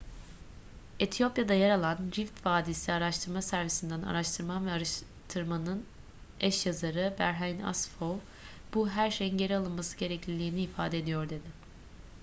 etiyopya'da yer alan rift vadisi araştırma servisi'nden araştıman ve araştırmanın eş yazarı berhane asfaw bu her şeyin geri alınması gerekliliğini ifade ediyor dedi